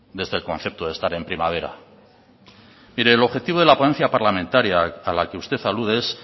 desde el concepto de estar en primavera mire el objetivo de la ponencia parlamentaria a la que usted alude es